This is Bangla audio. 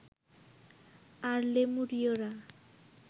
আর লেমুরীয়রা